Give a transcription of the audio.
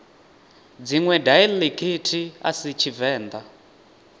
dziṅwe daiḽekithi a si tshivenḓa